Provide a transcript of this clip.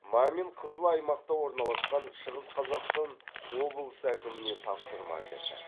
мамин қызыл аймақта орналасқан шығыс қазақстан облысы әкіміне тапсырма берді